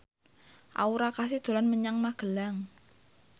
Aura Kasih dolan menyang Magelang